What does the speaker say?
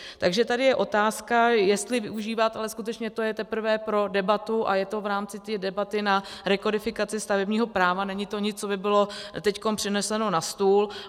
Takže tady je otázka, jestli využívat - ale skutečně to je teprve pro debatu a je to v rámci té debaty na rekodifikaci stavebního práva, není to nic, co by bylo teď přineseno na stůl.